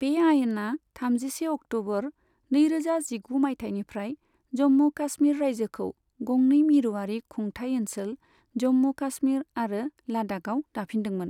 बे आयेना थामजिसे अक्ट'बर, नैरोजा जिगु मायथाइनिफ्राय जम्मु काश्मीर राइजोखौ गंनै मिरुआरि खुंथाय ओनसोल, जम्मु काश्मीर आरो लाद्दाखआव दाफिनदोंमोन।